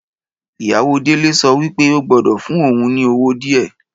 Ìyàwó Délé so wípé o gbọ́dọ̀ fún ohun ni owó díè